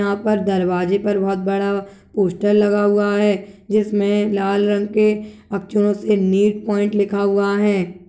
यहाँ पर दरवाजे पर बहुत बड़ा पोस्टर लगा हुआ है जिसमें लाल रंग के अक्षरों से नीट पॉइंट लिखा हुआ है।